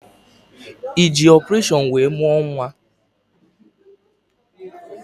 Ị ji ọpụreshọn wee mụọ nwa?